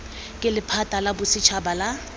ke lephata la bosetšhaba la